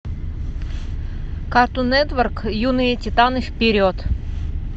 картун нетворк юные титаны вперед